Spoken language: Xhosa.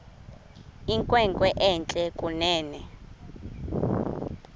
inkwenkwe entle kunene